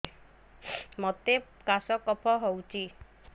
ମୋତେ କାଶ କଫ ହଉଚି